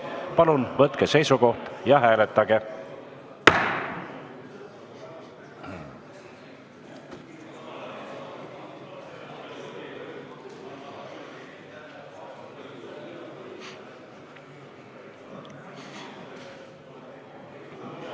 Palun võtke seisukoht ja hääletage!